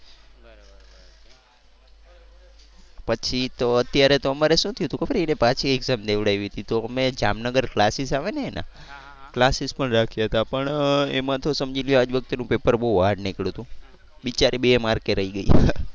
પછી તો અત્યારે તો અમારે શું થયું તું ખબર એને પાછી exam દેવડાવી તી તો અમે જામનગર classes આવે ને એના classes પણ રાખ્યા તા પણ એમાં તો સમજી લો આજ વખતેનું પેપર બહુ hard નીકળ્યું તું. બિચારી બે માર્કે રહી ગઈ.